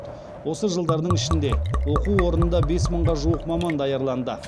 осы жылдардың ішінде оқу орнында бес мыңға жуық маман даярланды